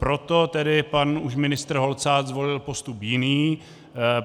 Proto tedy už pan ministr Holcát zvolil postup jiný.